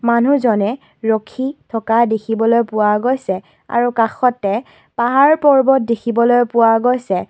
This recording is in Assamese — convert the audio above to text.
মানুহজনে ৰখি থকা দেখা পোৱা গৈছে আৰু কাষতে পাহাৰ পৰ্বত দেখিবলৈ পোৱা গৈছে।